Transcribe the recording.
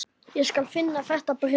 Ég skal finna þetta bréf